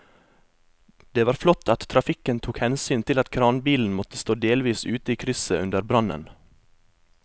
Det var flott at trafikken tok hensyn til at kranbilen måtte stå delvis ute i krysset under brannen.